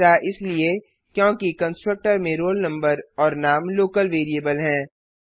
ऐसा इसलिए क्योंकि कंस्ट्रक्टर में रोल नंबर और नाम लोकल वेरिएबल हैं